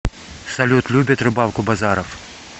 салют любит рыбалку базаров